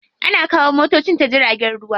Ana kawo motocin ta jirgin ruwa.